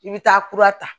I bɛ taa kura ta